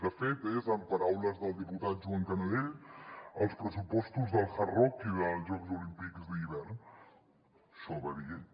de fet són en paraules del diputat joan canadell els pressupostos del hard rock i dels jocs olímpics d’hivern això va dir ell